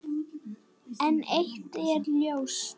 En eitt er ljóst.